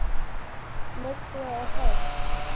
Myrkrið er heitt.